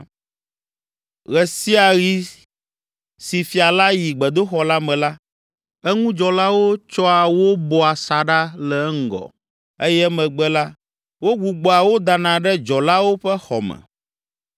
Ɣe sia ɣi si fia la yi gbedoxɔ la me la, eŋudzɔlawo tsɔa wo bɔa asaɖa le eŋgɔ eye emegbe la, wogbugbɔa wo dana ɖe dzɔlawo ƒe xɔ me.